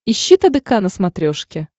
ищи тдк на смотрешке